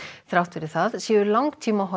þrátt fyrir það séu langtímahorfur